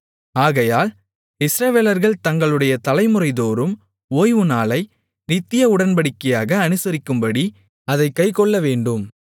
ஆகையால் இஸ்ரவேலர்கள் தங்களுடைய தலைமுறைதோறும் ஓய்வுநாளை நித்திய உடன்படிக்கையாக அனுசரிக்கும்படி அதைக் கைக்கொள்ளவேண்டும்